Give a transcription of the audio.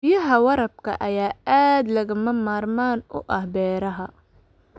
Biyaha waraabka ayaa aad lagama maarmaan u ah beeraha.